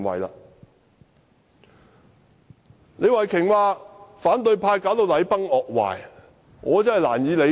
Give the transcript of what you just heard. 對於李慧琼議員說反對派導致禮崩樂壞，我覺得難以理解。